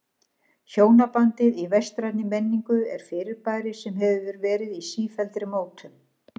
Hjónabandið í vestrænni menningu er fyrirbæri sem hefur verið í sífelldri mótun.